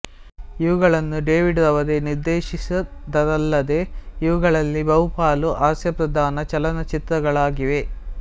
ಇವುಗಳನ್ನು ಡೇವಿಡ್ ರವರೇ ನಿರ್ದೇಶಿಸಿದ್ದರಲ್ಲದೇ ಇವುಗಳಲ್ಲಿ ಬಹುಪಾಲು ಹಾಸ್ಯಪ್ರಧಾನ ಚಲನಚಿತ್ರಗಳಾಗಿವೆ